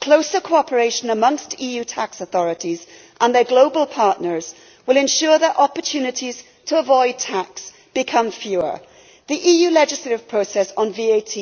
Closer cooperation amongst EU tax authorities and their global partners will ensure that opportunities to avoid tax become fewer. The EU legislative process on VAT